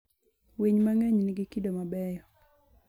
Winy mang'eny nigi kido mabeyo.